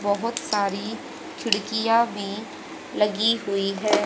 बहोत सारी खिड़कियां भी लगी हुई है।